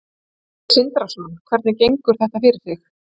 Sindri Sindrason: Hvernig gengur þetta fyrir sig?